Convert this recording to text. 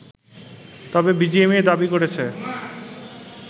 তবে বিজিএমইএ দাবি করেছে